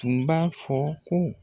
Tun b'a fɔ ko